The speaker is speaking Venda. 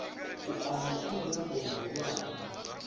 u amba kha mirao mihulwane